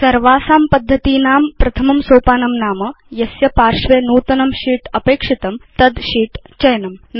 सर्वासां पद्धतीनां प्रथमं सोपानं नाम यस्य पार्श्वे नूतनं शीत् अपेक्षितं तद् शीत् चयनम्